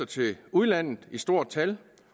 til udlandet i stort tal